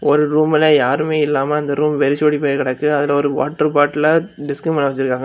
ஒரு ரூம்ல யாருமே இல்லாம அந்த ரூம் வெரிச்சோடி போய் கடக்கு. அதுல ஒரு வாட்டர் பாட்டில டிஸ்க் மேல வெச்சிருக்காங்க.